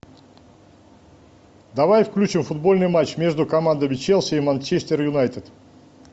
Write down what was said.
давай включим футбольный матч между командами челси и манчестер юнайтед